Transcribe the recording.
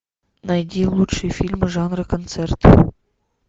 найди лучшие фильмы жанра концерт